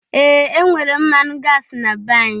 Ee! E nwere mmanụ gasi na be anyị.